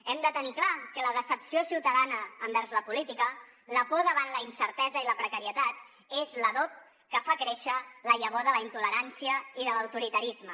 hem de tenir clar que la decepció ciutadana envers la política la por davant la incertesa i la precarietat és l’adob que fa créixer la llavor de la intolerància i de l’autoritarisme